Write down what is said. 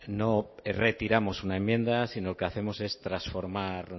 no retiramos una enmienda sino que hacemos transformar